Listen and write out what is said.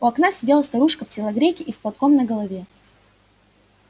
у окна сидела старушка в телогрейке и с платком на голове